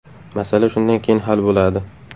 Masala shundan keyin hal bo‘ladi.